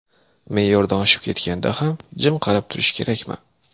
Me’yordan oshib ketganda ham jim qarab turish kerakmi?